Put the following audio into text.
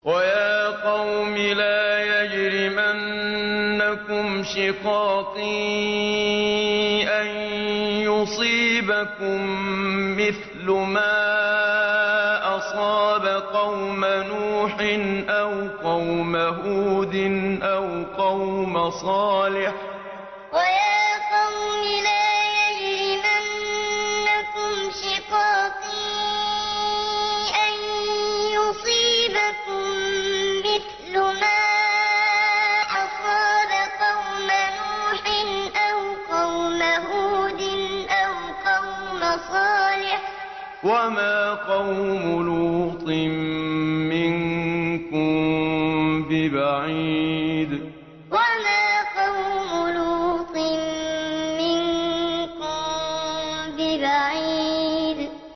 وَيَا قَوْمِ لَا يَجْرِمَنَّكُمْ شِقَاقِي أَن يُصِيبَكُم مِّثْلُ مَا أَصَابَ قَوْمَ نُوحٍ أَوْ قَوْمَ هُودٍ أَوْ قَوْمَ صَالِحٍ ۚ وَمَا قَوْمُ لُوطٍ مِّنكُم بِبَعِيدٍ وَيَا قَوْمِ لَا يَجْرِمَنَّكُمْ شِقَاقِي أَن يُصِيبَكُم مِّثْلُ مَا أَصَابَ قَوْمَ نُوحٍ أَوْ قَوْمَ هُودٍ أَوْ قَوْمَ صَالِحٍ ۚ وَمَا قَوْمُ لُوطٍ مِّنكُم بِبَعِيدٍ